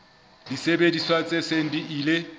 disebediswa tse seng di ile